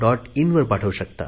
inवर पाठवू शकता